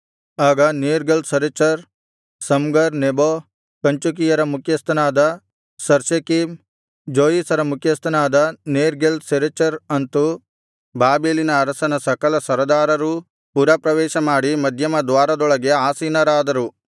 ಆಗ Nergal Sharezer Samgar Nebo ಕಂಚುಕಿಯರ ಮುಖ್ಯಸ್ಥನಾದ ಸರ್ಸೆಕೀಮ್ ಜೋಯಿಸರ ಮುಖ್ಯಸ್ಥನಾದ ನೇರ್ಗಲ್ ಸರೆಚರ್ ಅಂತು ಬಾಬೆಲಿನ ಅರಸನ ಸಕಲ ಸರದಾರರೂ ಪುರಪ್ರವೇಶಮಾಡಿ ಮಧ್ಯಮದ್ವಾರದೊಳಗೆ ಆಸೀನರಾದರು